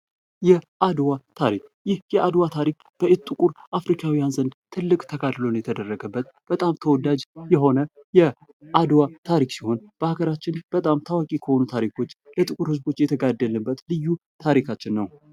የአድዋ ታሪክ የአድዋ ታሪክ በኢትዮጵያ ጥቁር አፍሪካውያን ዘንድ ትልቅ ተጋድሎ የተደረገበት በጣም ተወዳጅ የሆነ የአድዋ ታሪክ ሲሆን በሃገራችን በጣም ታዋቂ ከሆኑ ታሪኮች ለጥቁር ህዝቦች የተጋደልንበት ልዩ ታሪካንች ነው።